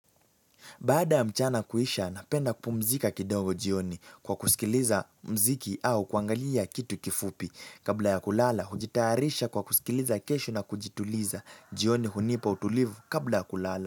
Baada ya mchana kuisha, napenda kupumzika kidogo jioni kwa kusikiliza mziki au kuangalia kitu kifupi. Kabla ya kulala, hujitayarisha kwa kusikiliza kesho na kujituliza jioni hunipa utulivu kabla ya kulala.